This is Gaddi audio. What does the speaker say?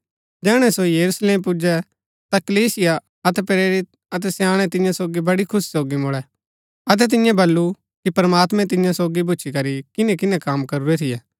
जैहणै सो यरूशलेम पुजै ता कलीसिया अतै प्रेरित अतै स्याणै तियां सोगी बड़ी खुशी सोगी मुळै अतै तिन्ये बल्लू कि प्रमात्मैं तियां सोगी भूच्ची करी किनैकिनै कम करूरै थियै